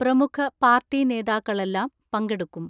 പ്രമുഖ പാർട്ടി നേതാക്കളെല്ലാം പങ്കെടു ക്കും.